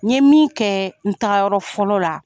N ɲe min kɛ? n tagayɔrɔ fɔlɔ la